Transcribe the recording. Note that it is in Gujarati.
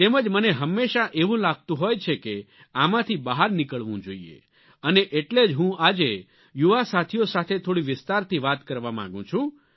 તેમજ મને હંમેશા એવું લાગતું હોય છે કે આમાંથી બહાર નીકળવું જોઈએ અને એટલે જ હું આજે યુવા સાથીઓ સાથે થોડી વિસ્તારથી વાત કરવા માંગું છું